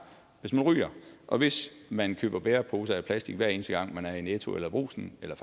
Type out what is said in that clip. hvis man ryger og hvis man køber bæreposer af plastik hver eneste gang man er i netto eller i brugsen eller